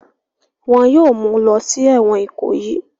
wọn yóò mulọ sí ẹ̀wọ̀n ìkòyì.